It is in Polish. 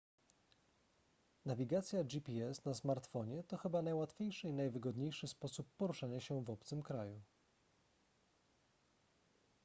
nawigacja gps na smartfonie to chyba najłatwiejszy i najwygodniejszy sposób poruszania się w obcym kraju